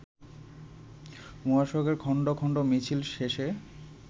মহাসড়কের খন্ড খন্ড মিছিল শেষে